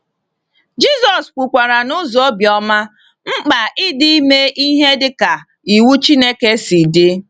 Jisọs kwukwara n’ụzọ obiọma mkpa ịdị ime ihe dịka iwu Chineke si dị.